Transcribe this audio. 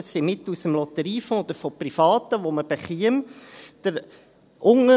Es sind Mittel aus dem Lotteriefonds oder von Privaten, die man erhalten würde.